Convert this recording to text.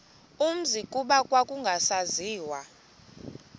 umzi kuba kwakungasaziwa